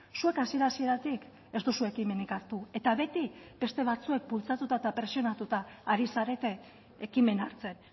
zuek hasiera hasieratik ez duzue ekimenik hartu eta beti beste batzuek bultzatuta eta presionatuta ari zarete ekimena hartzen